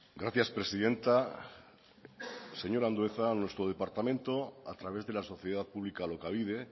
gracias presidenta señor andueza nuestro departamento a través de la sociedad pública alokabide